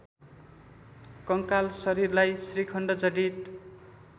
कङ्काल शरीरलाई श्रीखण्डजडित